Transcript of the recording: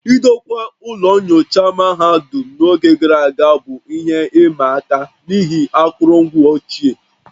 Idokwa ụlọ nyocha mahadum n'oge gara aga bụ ihe ịma aka n'ihi akụrụngwa ochie